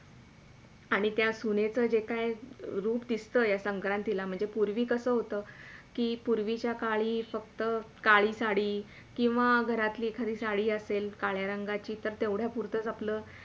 आणि त्या सुनेचा जे काय रूप दिसतोय या संक्रांतीला म्हणजे पुर्वी कसा होत कि पुर्वी सकाळी फक्त काळी साडी किवा घरातली एखादी साडी असेल काळ्या रंगाची तर तेवढ्या पुरतच आपल.